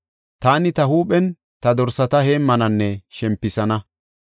Taani ta huuphen ta dorsata heemmananne shempisana.